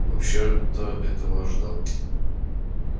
вообще-то этого ожидал